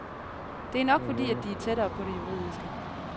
Det er nok fordi, at de er tættere på det juridiske.